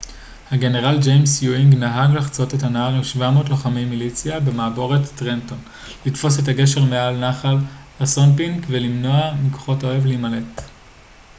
הגנרל ג'יימס יואינג נהג לחצות את הנהר עם 700 לוחמי מיליציה במעבורת טרנטון לתפוס את הגשר מעל נחל אסונפינק ולמנוע מכוחות האויב להימלט